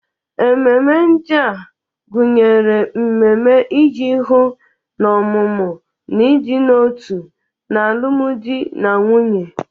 Ememe ndị a gụnyere mmemme iji hụ na ọmụmụ na ịdị n'otu n'alụmdi na nwunye.